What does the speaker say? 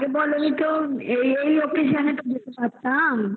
কি তুমি আগে বলোনি তো এই occasion এ তো আসতে পারতাম